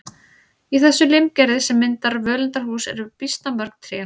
Í þessu limgerði sem myndar völundarhús eru býsna mörg tré.